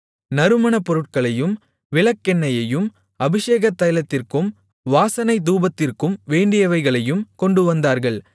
நறுமணப் பொருட்களையும் விளக்கெண்ணெயையும் அபிஷேகத் தைலத்திற்கும் வாசனை தூபத்திற்கும் வேண்டியவைகளையும் கொண்டுவந்தார்கள்